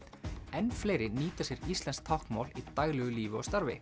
enn fleiri nýta sér íslenskt táknmál í daglegu lífi og starfi